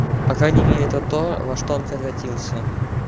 по крайней мере это то во что он превратился